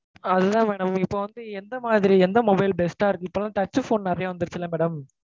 அது தான் madam இப்போ வந்து எந்த மாதிரி எந்த mobile best ஆ இருக்கு? இப்போலாம் touch phone நெறைய வந்திருச்சில madam